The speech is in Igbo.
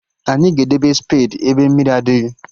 Anyị ga-edebe spedi ebe mmiri adịghị